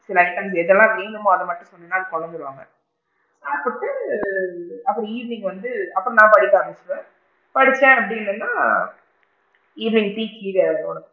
Like எதுனா வேணுமோ அதலாம் தந்திடுவாங்க தந்துட்டு அப்பறம் evening வந்து அப்பறம் நான் படிக்க ஆரம்பிச்சிடிவேன் படிச்சேன் அப்படின்னு சொன்னா evening டீ க்கு கீழ,